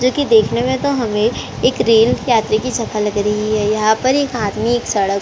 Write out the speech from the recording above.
जो की देखने में तो हमे एक रेल यात्री की सफर लग रही है यहाँ पर एक आदमी एक सड़क पर--